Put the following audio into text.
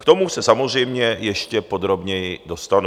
K tomu se samozřejmě ještě podrobněji dostanu.